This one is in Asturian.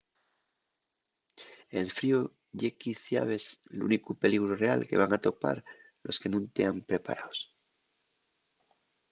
el fríu ye quiciabes l’únicu peligru real que van atopar los que nun tean preparaos